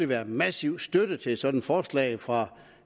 være massiv støtte til sådan et forslag fra